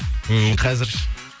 ммм қазір ше